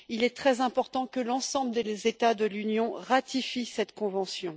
Il est très important que l'ensemble des États de l'Union ratifient cette convention.